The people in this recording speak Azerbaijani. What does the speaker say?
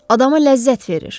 Adama ləzzət verir.